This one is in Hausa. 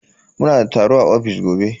Muna da taro a ofis gobe.